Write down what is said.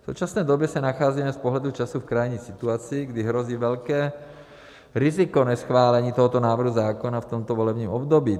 V současné době se nacházíme z pohledu času v krajní situaci, kdy hrozí velké riziko neschválení tohoto návrhu zákona v tomto volebním období.